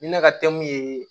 Ni ne ka teli ye